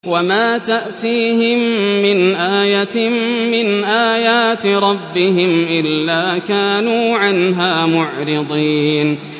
وَمَا تَأْتِيهِم مِّنْ آيَةٍ مِّنْ آيَاتِ رَبِّهِمْ إِلَّا كَانُوا عَنْهَا مُعْرِضِينَ